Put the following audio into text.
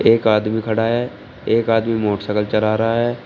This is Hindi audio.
एक आदमी खड़ा है एक आदमी मोटरसाइकिल चला रहा है।